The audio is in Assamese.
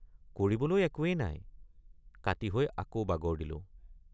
কৰিবলৈ একোৱেই নাই কাতি হৈ আকৌ বাগৰ দিলো।